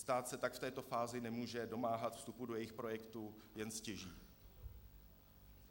Stát se tak v této fázi může domáhat vstupu do jejich projektu, jen stěží.